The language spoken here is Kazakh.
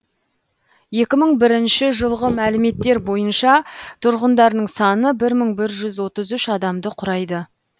екі мың бірінші жылғы мәліметтер бойынша тұрғындарының саны бір мың бір жүз отыз үш адамды құрайды